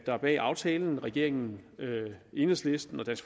er bag aftalen regeringen enhedslisten og